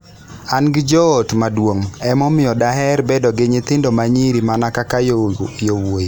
An gi joot maduong', omiyo daher bedo gi nyithindo ma nyiri mana kaka yawuowi".